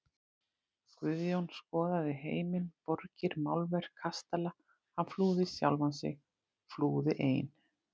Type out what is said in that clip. Guðjón skoðaði heiminn, borgir, málverk, kastala, hann flúði sjálfan sig, flúði ein